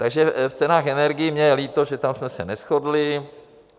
Takže v cenách energií mně je líto, že tam jsme se neshodli.